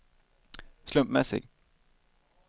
slumpmässig